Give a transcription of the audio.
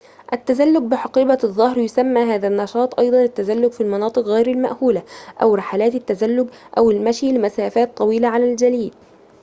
التزلج بحقيبة الظهر يسمى هذا النشاط أيضاً التزلج في المناطق غير المأهولة أو رحلات التزلج أو المشي لمسافات طويلة على الجليد